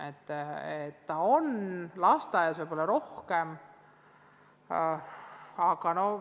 Ja lasteaias käsitletakse seda teemat võib-olla rohkem kui koolis.